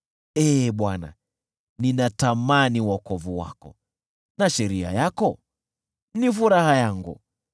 Ee Bwana , ninatamani wokovu wako, na sheria yako ni furaha yangu.